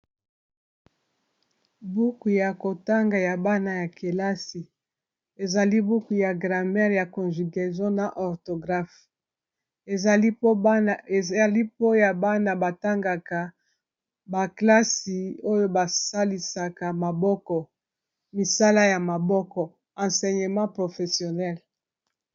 buku ya kotanga ya bana ya kelasi ezali buku ya gramare ya conjugason na orthographe ezali mpoya bana batangaka baklasi oyo basalisaka maboko misala ya maboko ensenyamant professionel